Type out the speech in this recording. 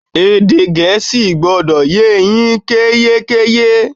Èdè Gẹ̀ẹ́sì gbọdọ̀ e yín yékéyéké!